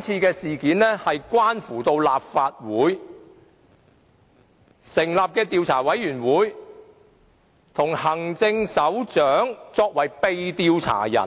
這項議案關乎立法會成立的專責委員會與行政長官作為被調查者